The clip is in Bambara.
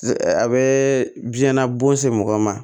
A bɛ biyɛn na bon se mɔgɔ ma